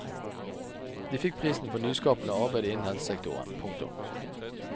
De fikk prisen for nyskapende arbeid innen helsesektoren. punktum